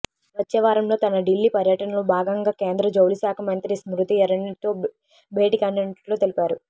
వచ్చే వారంలో తన ఢిల్లీ పర్యటన లో భాగంగా కేంద్ర జౌళిశాఖ మంత్రి స్మృతి ఇరానీతో భేటీ కానున్నట్లు తెలిపారు